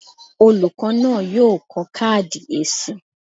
Olùkọ́ náà yóò kọ káàdì èsì.